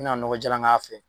N mina nɔgɔ jalan k'a fɛ